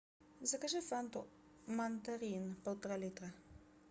закажи фанту мандарин полтора литра